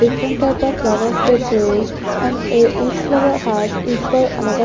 Different type of flowers they placed and eh each flowers has equal another --